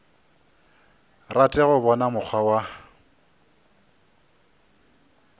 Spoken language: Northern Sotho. rate go bona mokgwa wa